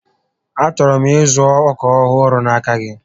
A chọrọ m ịzụ ọkà ọhụrụ n'aka gị